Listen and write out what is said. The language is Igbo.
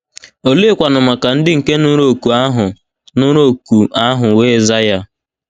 Oleekwanụ maka ndị nke nụrụ òkù ahụ nụrụ òkù ahụ wee za ya?